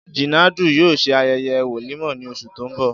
Jínàdú yóò se aye̩ye̩ wòlímò̩ ní os̩ù tó ń bò̩